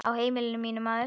Á heimili mínu, maður.